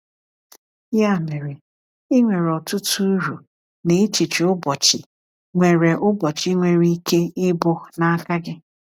Ya mere, ị nwere ọtụtụ uru na echiche ụbọchị nwere ụbọchị nwere ike ịbụ n’aka gị.